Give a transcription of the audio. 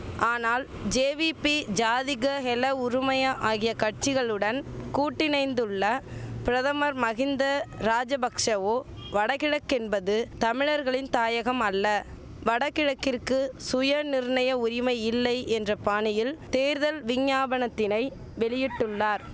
ஆனால் ஜேவிபி ஜாதிக ஹெல உறுமய ஆகிய கட்சிகளுடன் கூட்டிணைந்துள்ள பிரதமர் மகிந்த ராஜபக்ஷவோ வடகிழக்கென்பது தமிழர்களின் தாயகமல்ல வடகிழக்கிற்கு சுயநிர்ணய உரிமையில்லை என்ற பாணியில் தேர்தல் விஞ்ஞாபனத்தினை வெளியிட்டுள்ளார்